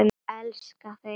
Ég elskaði þig.